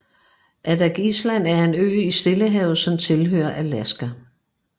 Adak Island er en ø i Stillehavet som tilhører Alaska